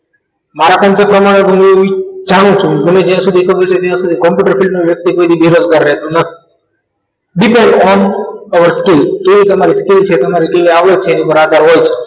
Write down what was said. મારા સંચાવ્યા પ્રમાણે જાણું છું મને જ્યાં સુધી ખબર છે ત્યાં સુધી computer field નો વ્યક્તિ કોઈ દિવસ બેદરકાર રહેતો નથી middle on one over skill એ તમારે કેવી છે તમારી કેવી આવડત છે એની ઉપર આધાર હોય છે